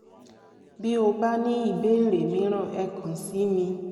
bí o bá ní ìbéèrè mìíràn ẹ kàn sí mi